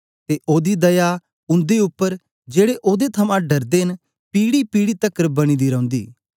ते ओदी दया उन्दे उप्पर जेड़े ओदे थमां डरदे न पीढ़ीपीढ़ी तकर बनी दी रौंदी